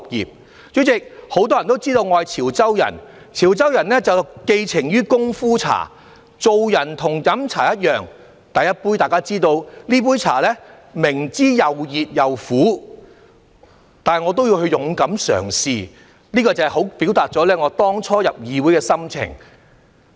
代理主席，很多人也知道我是潮州人，潮州人寄情於功夫茶，做人與飲茶一樣，大家也知道，這杯茶又熱又苦，但我也會勇敢嘗試，這正好表達出我當初進入議會的心情。